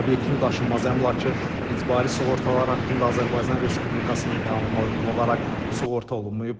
Obyektin daşınmaz əmlakı icbari sığortalar haqqında Azərbaycan Respublikasının qanununa uyğun olaraq sığorta olunmayıb.